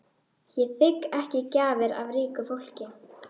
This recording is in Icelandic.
Ég þigg ekki gjafir af ríku fólki.